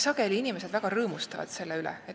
Sageli inimesed väga rõõmustavad selle üle.